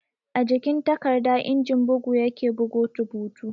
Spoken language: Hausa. A jikin takarda injin bugu ya ke bugo rubutu